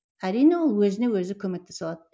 әрине ол өзіне өзі көмектесе алады